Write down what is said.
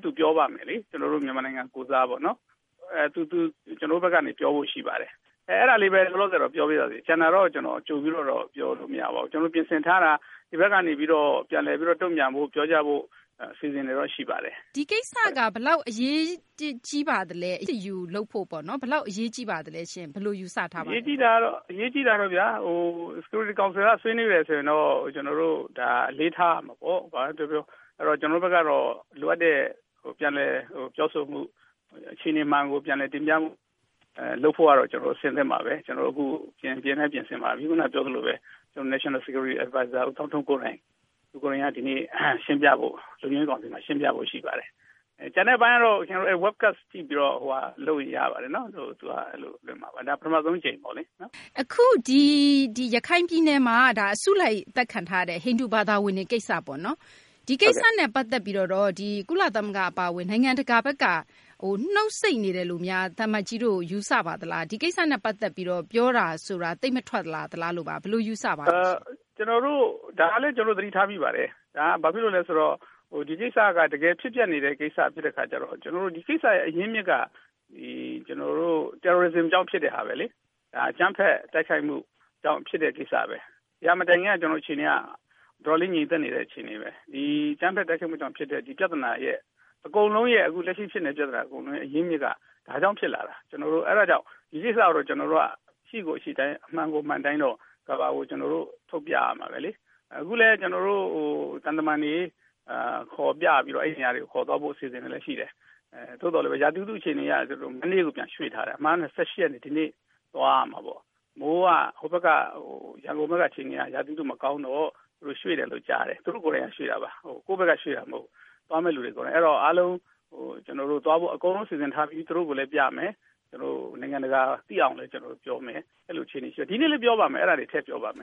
သူပြောပါမယ် ကျနော်တို့ မြန်မာနိုင်ငံကိုယ်စားပေါ့နော်။ သူကျနော်တို့ဘက်ကနေ ပြောဖို့ရှိပါတယ်။ အဲဒါလေးပဲ လောလောဆယ်တော့ ပြောလို့ရသေးတယ် ကျန်တာတော့ ကျနော်ကြိုပြီးတော့ ပြောလို့မရပါဘူး။ ကျနော်ပြင်ဆင်ထားတာ ဒီဘက်ကနေပြီးတော့ ပြန်လည်ပြီးတော့ တုံ့ပြန်ဖို့ ပြောကြဖို့ အစီအစဉ်တွေတော့ရှိပါတယ်။ မေး။ ။ ဒီကိစ္စက ဘယ်လောက်အရေးကြီးပါသလဲ ၊ အရေးတယူလုပ်ဖို့ပေါ့နော် ဘယ်လောက်အရေးကြီးပါသလဲ ဘယ်လိုယူဆထားပါသလဲရှင့်။ သံအမတ်ကြီး ဦးဟောက်ဒိုဆွမ်း။ ။ အရေးကြီးတာကတော့ Security council ကနေဆွေးနွေးတယ်ဆိုတော့ ကျနော်တို့အလေးထားရမှာပေါ့ ဘာပဲပြောပြော ကျနော်တို့ဘက်ကတော့ လိုအပ်တဲ့ ပြန်လည်ပြောဆိုမှု ၊ အခြေအနေမှန်ကို ပြန်လည်တင်ပြမှု လုပ်ဖို့ကတော့ အဆင်သင့်ပါပဲ။ ကျနော်တို့အခု ပြင်လည်းပြင်ဆင်ပါပြီ ခုနပြောသလိုပဲNational Security Advisor ဦးသောင်းထွန်း သူကိုယ်တိုင်က ဒီကနေ့ရှင်းပြဖို့ ရှိပါတယ်။ ကျန်တဲ့အပိုင်းကတော့ ကျနော်တို့ Webcast ကြည့်ပြီးတော့ လုပ်ရင်ရပါတယ်နော် ဒါပထမဦးဆုံးအကြိမ်ပေါ့လေ။ မေး။ ။ အခုရခိုင်ပြည်နယ်မှာ အစုလိုက်အသတ်ခံထားရတဲ့ ဟိန္ဒူဘာသာဝင်တွေကိစ္စပေါ့နော် ၊ ဒီကိစ္စနဲ့ ပတ်သက်ပြီးတော့ ကုလသမဂ္ဂ အပါအဝင် နိုင်ငံတကာဘက်က နူတ်ဆိတ်နေတယ်လို့များ သံအမတ်ကြီးတို့ ယူဆပါသလား။ ဒီကိစ္စနဲ့ ပတ်သက်ပြီးတော့ပြောတာဆိုတာ သိပ်မထွက်လာသလားလို့ပါ။ ဘယ်လိုယူဆပါသလဲရှင့်။ သံအမတ်ကြီး ဦးဟောက်ဒိုဆွမ်း။ ။ဒါကလည်း ကျနော်တို့ ယူဆမိပါတယ်။ ဘာဖြစ်လို့လဲဆိုတော့ ဒီကိစ္စက တကယ်ဖြစ်ပျက်နေတဲ့ကိစ္စဖြစ်တဲ့အခါကျတော့ ကျနေ်ာတို့ ဒီကိစ္စရဲ့အရင်းအမြစ်က ကျနော်တို့ Terrorism ကြောင့်ဖြစ်တဲ့ဟာပဲလေ။ ဒါအကြမ်းဖက်တိုက်ခိုက်မှုကြောင့်ဖြစ်တဲ့ကိစ္စပဲ ၊ ဒီဟာမတိုင်ခင်က အခြေအနေက တော်တော်လေးငြိမ်သက်နေတဲ့အခြေအနေ၊ ဒီအကြမ်းဖက်တိုက်ခိုက်မှုကြောင့် ဖြစ်တဲ့ဒီပြဿနာက လက်ရှိအကုန်လုံးဖြစ်နေတဲ့ ပြဿနာ အရင်းအမြစ်က ဒါကြောင့်ဖြစ်လာတာ၊ ကျနော်တို့ အဲဒါကြောင့် ဒီကိစ္စကို ကျနော်တို့ အရှိကိုအရှိအတိုင်း၊ အမှန်ကို အမှန်အတိုင်း လုပ်ရမယ်၊ ဒါကို ကျနော်တို့ ထုတ်ပြရမှာပဲလေ။ အခုလည်းကျနော်တို့ သံတမန်တွေ ခေါ်ပြပြီးတော့ အဲဒီနေရာတွေကိုခေါ်သွားဖို့ အစီအစဉ်တွေလည်းရှိတယ်။ သို့သော်လည်း ရာသီဥတုအခြေအနေအရ ရက်ကိုရွှေ့ထားတယ်၊ အမုန်ကတော့ ၂၈ ရက်နေ့သွားဖို့လုပ်ထားတယ် ၊ ရန်ကုန်က မိုးက ရာသီဥတုမကောင်းတော့ ရွှေ့တယ်လို့ကြားတယ်၊ သူတို့ကိုယ်တိုင်ရွှေ့တာပါ။ ကိုယ့်ဘက်ကရွှေ့တာမဟုတ်ဘူး အဲဒီတော့ သွားမယ့်လူတွေ အားလုံးကျနော်တို့ အကုန်လုံးစီစဉ်ထားပြီး သူတို့ကိုလည်းပြမယ်၊ နိုင်ငံတကာသိအောင်လည်း ကျနော်တို့ပြောမယ်၊ အဲလိုအခြေအနေရှိပါတယ်၊ ဒီနေ့လည်းကျနော်တို့ ထည့်ပြောပါမယ